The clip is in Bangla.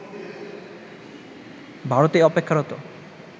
ভারতে অপেক্ষারত